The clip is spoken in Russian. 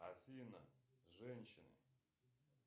афина женщины